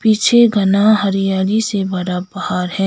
पीछे घना हरियाली से भरा पहाड़ है।